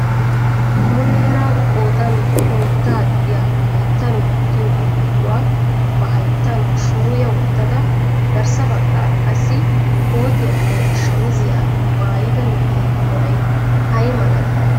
Muleera qoodan oyddaa gidiyaa hayttan wottiyo alleequwa ba hayttan shuuyya wottada garssa baggaara qassi koottiyanne shamizziyaa maayyida na'ee meray ay malatii?